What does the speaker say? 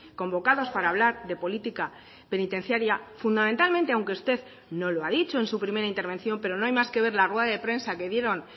convocados para hablar de política penitenciaria fundamentalmente aunque usted no lo ha dicho en su primera intervención pero no hay más que ver la rueda de prensa que dieron